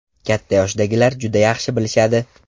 Katta yoshdagilar juda yaxshi bilishadi.